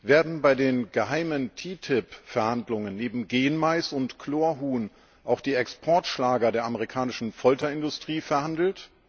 Werden bei den geheimen TTIP Verhandlungen neben Genmais und Chlorhuhn auch die Exportschlager der amerikanischen Folterindustrie verhandelt?